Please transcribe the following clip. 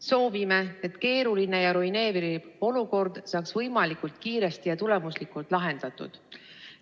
Soovime, et keeruline ja ruineeriv olukord saaks võimalikult kiiresti ja tulemuslikult lahendatud.